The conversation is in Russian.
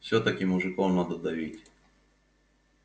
всё-таки мужиков надо давить